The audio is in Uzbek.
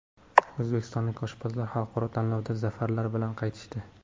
O‘zbekistonlik oshpazlar xalqaro tanlovdan zafarlar bilan qaytishdi.